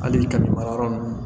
Hali ka mara yɔrɔ nunnu